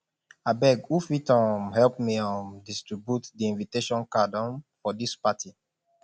abeg who fit um help me um distribute di invitation card um for dis party